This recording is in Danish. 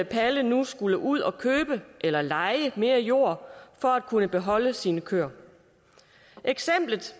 palle nu skulle ud at købe eller leje mere jord for at kunne beholde sine køer eksemplet